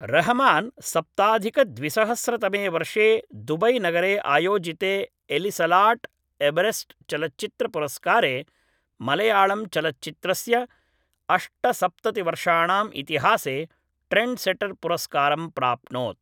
रहमान सप्ताधिकद्विसहस्रतमे वर्षे दुबैनगरे आयोजिते एटिसलाट् एवरेस्ट् चलच्चित्रपुरस्कारे मलयाळम् चलच्चित्रस्य अष्टसप्ततिवर्षाणाम् इतिहासे ट्रेण्ड्सेटर् पुरस्कारं प्राप्नोत्